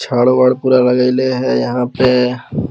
चारो और पूरा लगैले है यहाँ पे --